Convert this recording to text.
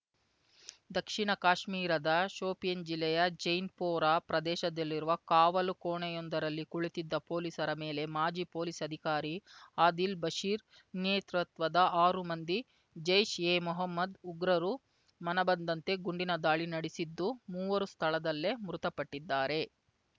ದಕ್ಷಿಣ ಕಾಶ್ಮೀರದ ಶೋಪಿಯಾನ್‌ ಜಿಲ್ಲೆಯ ಜೈನ್‌ಪೋರಾ ಪ್ರದೇಶದಲ್ಲಿರುವ ಕಾವಲು ಕೋಣೆಯೊಂದರಲ್ಲಿ ಕುಳಿತಿದ್ದ ಪೊಲೀಸರ ಮೇಲೆ ಮಾಜಿ ಪೊಲೀಸ್‌ ಅಧಿಕಾರಿ ಆದಿಲ್‌ ಬಶಿರ್ ನೇತೃತ್ವದ ಆರು ಮಂದಿ ಜೈಷ್‌ ಎ ಮೊಹಮ್ಮದ್‌ ಉಗ್ರರು ಮನಬಂದಂತೆ ಗುಂಡಿನ ದಾಳಿ ನಡೆಸಿದ್ದು ಮೂವರು ಸ್ಥಳದಲ್ಲೇ ಮೃತಪಟ್ಟಿದ್ದಾರೆ